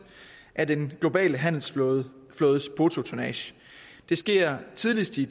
af den globale handelsflådes bruttotonnage det sker tidligst i